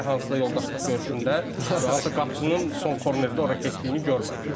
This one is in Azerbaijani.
Hələ hansısa yoldaşlıq görüşündə hansı qapıçının son kornedə ora getdiyini görməmişəm.